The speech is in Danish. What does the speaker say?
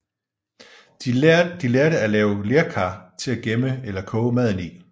De lærte at lave lerkar til at gemme eller koge maden i